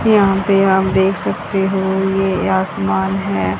यहां पे आप देख सकते हो ये आसमान है।